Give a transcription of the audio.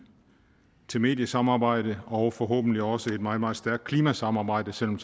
til mediesamarbejde og forhåbentlig også et meget meget stærkt klimasamarbejde selv om